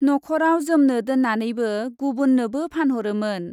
नख ' राव जोमनो दोननानै बो गुबुन्नोबो फानहरोमोन ।